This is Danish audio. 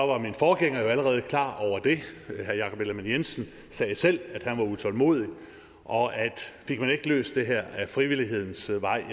var min forgænger jo allerede klar over det herre jakob ellemann jensen sagde jo selv at han var utålmodig og at fik man ikke løst det her ad frivillighedens vej